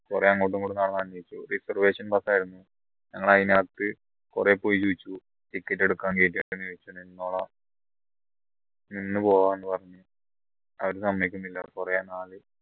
കുറെ അങ്ങോട്ട് ഇങ്ങോട്ട് നടന്നന്വേഷിച്ചു reservation bus ആയിരുന്നു ഞങ്ങൾ അതിനകത്ത് കുറേ പോയി ചോദിച്ചു ticket എടുക്കാൻ നിന്ന് പോവാന്ന് പറഞ്ഞു അവരെ സമ്മതിക്കുന്നില്ല കുറേ